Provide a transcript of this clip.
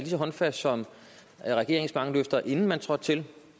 så håndfast som regeringens mange løfter inden man trådte til